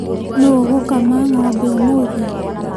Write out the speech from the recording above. Nũũ ũgũkama ng'ombe ũmũthĩ?